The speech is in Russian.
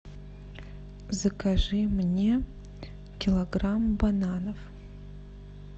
закажи мне килограмм бананов